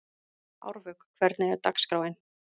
Árvök, hvernig er dagskráin?